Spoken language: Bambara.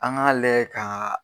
An k' an layɛ kaaa.